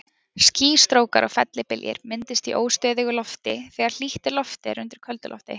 Skýstrókar og fellibyljir myndast í óstöðugu lofti, þegar hlýtt loft er undir köldu lofti.